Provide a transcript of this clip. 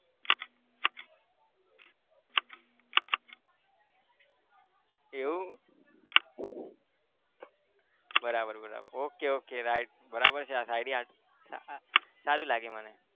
એવું બરાબર બરાબર okay okay right બરાબર છે આ શાયરી સારું લાગ્યું મને